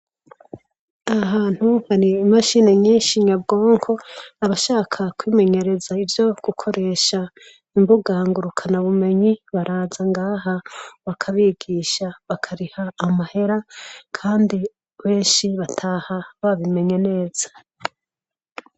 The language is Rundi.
Aha hantu har’imashini nyinshi nyabwonko, abashaka kwimenyereza ivyo gukoresha imbuga ngurukana bumenyi baraza ngaha bakabigisha , bakariha amahera Kandi benshi bataha babimenye neza.